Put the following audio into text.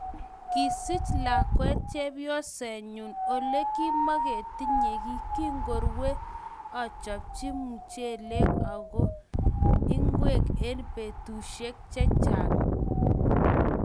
Kisiich lakwet chepyosenyu olegimagitinye giy. Kingorue, achopchi muchelek ago ingwek eng betushiek chechang